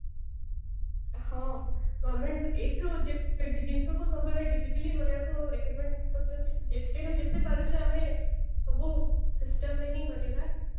ହଁ ଏଇଠୁ ଯେତେ ବି ଜିନିଷ ସବୁ digitally କରିବାକୁ recommend କରୁଛନ୍ତି ଯେତେ ରେ ଯେତେ ପାରୁଛେ ଆମେ ସବୁ system ରେ ହିଁ କରିବା